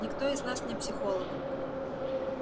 никто из нас не психолог